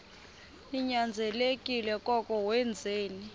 ninyanzelekile koko wenzeni